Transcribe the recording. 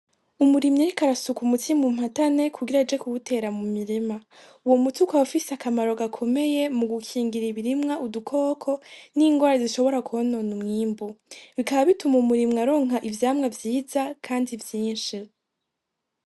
Umurimyi ariko arasuka umuti mu mpatane kugira aje kuwutera mu mirima. Uwo muti ukaba ufise akamaro gakomeye mu gikingira ibirimwa udukoko n'ingwara zishobora kwonona umwimbu. Bikaba bituma umurimyi aronka ivyamwa vyiza kandi vyinshi.